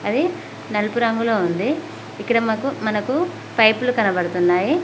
అది నలుపు రంగులో ఉంది ఇక్కడ మాకు మనకు పైపులు కనబడుతున్నాయి.